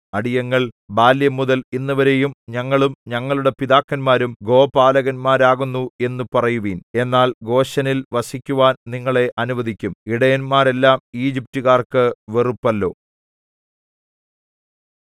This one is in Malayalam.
അടിയങ്ങൾ ബാല്യംമുതൽ ഇന്നുവരെയും ഞങ്ങളും ഞങ്ങളുടെ പിതാക്കന്മാരും ഗോപാലകന്മാരാകുന്നു എന്നു പറയുവിൻ എന്നാൽ ഗോശെനിൽ വസിക്കുവാൻ നിങ്ങളെ അനുവദിക്കും ഇടയന്മാരെല്ലാം ഈജിപ്റ്റുകാർക്കു വെറുപ്പല്ലോ